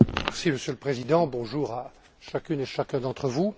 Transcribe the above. Monsieur le Président, bonjour à chacune et chacun d'entre vous.